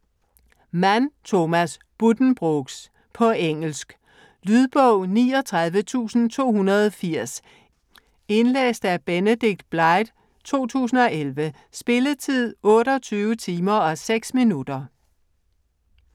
Mann, Thomas: Buddenbrooks På engelsk. Lydbog 39280 Indlæst af Benedict Blythe, 2011. Spilletid: 28 timer, 6 minutter.